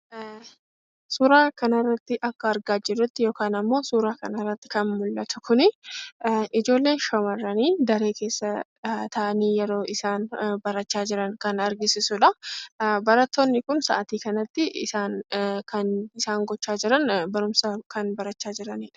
Suuraa kanarratti akkuma argaa jirutti yookaan immoo kan mul'atu kun ijoollee shamarranii daree keessa taa'aanii yeroo isaan barachaa jiran kan argisiisuudha. Barattoonni kun sa'aatii kan isaan gochaa jiran barumsa barachaa jiraniidha.